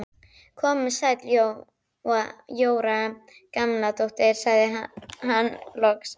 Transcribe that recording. Komdu sæl Jóra Gamladóttir sagði hann loks.